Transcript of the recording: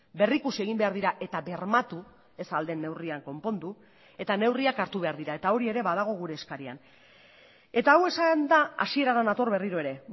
berrikusi egin behar dira eta bermatu ez ahal den neurrian konpondu eta neurriak hartu behar dira eta hori ere badago gure eskarian eta hau esanda hasierara nator berriro ere